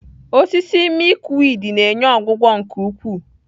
Osisi Milkweed na-enye ọgwụgwọ nke ukwuu.